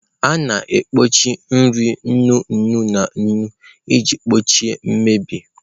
A na-ekpuchi nri nnu nnu na nnu iji gbochie mmebi